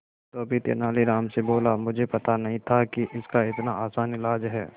धोबी तेनालीराम से बोला मुझे पता नहीं था कि इसका इतना आसान इलाज है